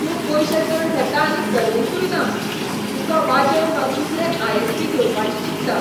तूं पयशें चड घेता आनी सर्विसूय ना, तुका वाजेवन हांव दुसरें आय.एस.पी.घेवपाचें चिंतता.